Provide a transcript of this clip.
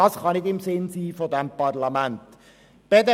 Dies kann nicht im Sinn dieses Parlaments liegen.